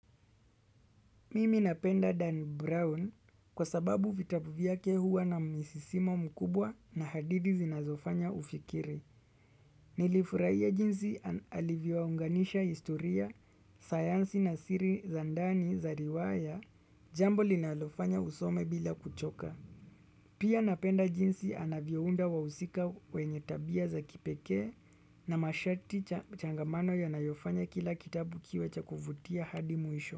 Mimi napenda Dan Brown kwa sababu vitabu vyake huwa na misisimo mkubwa na hadithi zinazofanya ufikiri. Nilifurahia jinsi alivyounganisha historia, sayansi na siri za ndani za riwaya, jambo linalofanya usome bila kuchoka. Pia napenda jinsi anavyounda wahusika wenye tabia za kipekee na mashati changamano yanayo fanya kila kitabu kiwe cha kuvutia hadi mwisho.